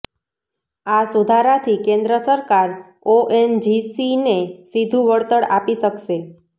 આ સુધારાથી કેન્દ્ર સરકાર ઓએનજીસીને સીધું વળતર આપી શકશે